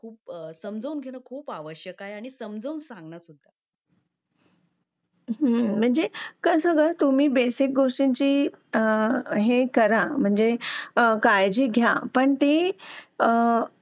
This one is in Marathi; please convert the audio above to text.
लेट होतं सर्दी खोकला हा एक वाढलं आहे. एका मुलाला क्लास पूर्ण क्लास त्याच्यामध्ये वाहून निघत निघत असतो असं म्हणायला हरकत नाही. हो डेंग्यू, मलेरिया यासारखे आजार पण ना म्हणजे लसीकरण आहे. पूर्ण केले तर मला नाही वाटत आहे रोप असू शकतेपुडी लसीकरणाबाबत थोडं पालकांनी लक्ष दिलं पाहिजे की आपला मुलगा या वयात आलेला आहे. आता त्याच्या कोणत्या लसी राहिलेले आहेत का?